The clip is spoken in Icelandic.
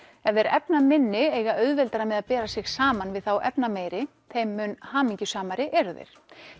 ef þeir efnaminni eiga auðveldara með að bera sig saman við þá efnameiri þeim mun hamingjusamari eru þeir